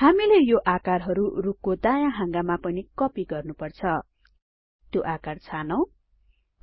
हामीले यो आकारहरु रुखको दायाँ हाँगामा पनि कपि गर्नुपर्छ त्यो आकार छानौं